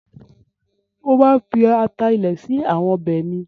Mo máa ń fi ata ilẹ̀ sí àwọn ọbẹ̀ mi.